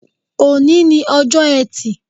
Òní ni ojọ́ ẹtì